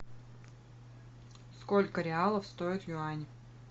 сколько реалов стоит юань